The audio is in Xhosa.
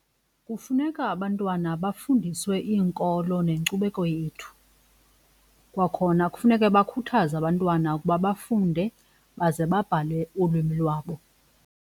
Kufuneka abantwana bafundiswe iinkolo nenkcubeko yethu kwakhona kufuneke bakhuthaze abantwana ukuba bafunde baze babhale ulwimi lwabo.